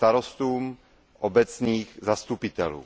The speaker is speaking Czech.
starostů, obecních zastupitelů.